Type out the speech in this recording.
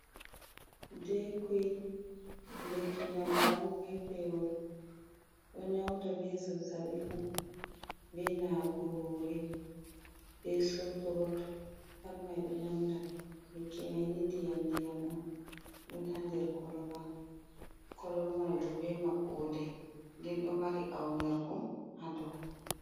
Dekuil lekki ndamba on be pewol ɗo nyauda be zazabi fum be nawugo hore be sotrot pat mai ɗo nyauda lekki mani di ndiyam ndiyam on dun ha nder koloba koloba mai bo be maɓɓode nden do mari aunirɗum ha dow.